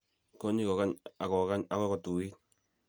kokny kokany ak kokany akoi kotuiit.